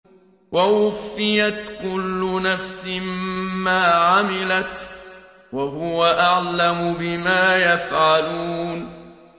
وَوُفِّيَتْ كُلُّ نَفْسٍ مَّا عَمِلَتْ وَهُوَ أَعْلَمُ بِمَا يَفْعَلُونَ